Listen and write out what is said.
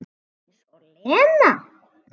Eins og Lena!